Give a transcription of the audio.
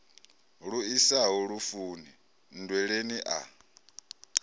lu isaho lufuni nndweleni a